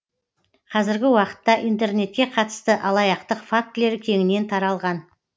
қазіргі уақытта интернетке қатысты алаяқтық фактілері кеңінен таралған